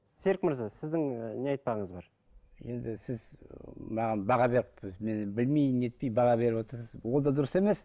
серік мырза сіздің ы не айтпағыңыз бар енді сіз ы маған баға беріп мені білмей нетпей баға беріп отырсыз ол да дұрыс емес